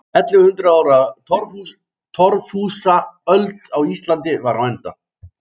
Ellefu hundruð ára torfhúsaöld á Íslandi var á enda.